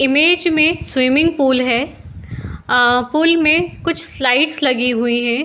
Image में swimming pool है। अ पूल में कुछ स्लाइड्स लगी हुई है |